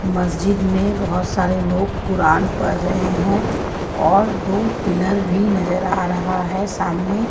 मस्जिद में बहुत सारे लोग कुरान पढ़ रहे है और दो पिलर भी नजर आ रहा है सामने--